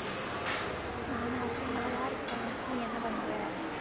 நானா சும்மாதான் இருக்கேன் நீ என்ன பண்ற